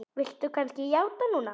Viltu kannski játa núna?